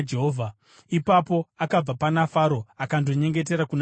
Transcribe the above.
Ipapo akabva pana Faro akandonyengetera kuna Jehovha,